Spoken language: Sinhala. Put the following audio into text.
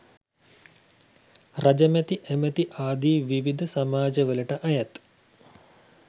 රජමැති ඇමැති ආදී විවිධ සමාජවලට අයත්